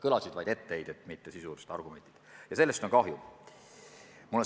Kõlasid vaid etteheited, mitte sisulised argumendid, ja sellest on kahju.